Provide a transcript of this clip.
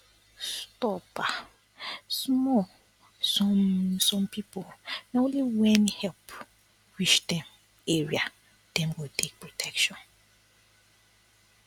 stop um small some some people na only when help reach dem area dem go take protection